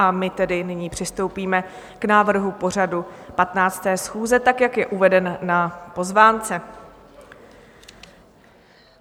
A my tedy nyní přistoupíme k návrhu pořadu 15. schůze, tak jak je uveden na pozvánce.